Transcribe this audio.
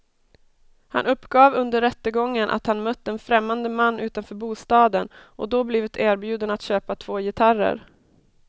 Han uppgav under rättegången att han mött en främmande man utanför bostaden och då blivit erbjuden att köpa två gitarrer.